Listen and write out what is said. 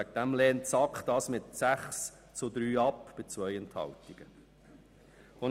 Aus diesem Grund lehnt die SAK mit 6 Nein- zu 3 Ja-Stimmen bei 2 Enthaltungen ab.